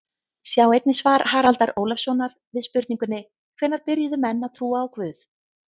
Sjá einnig svar Haraldar Ólafssonar við spurningunni Hvenær byrjuðu menn að trúa á guð?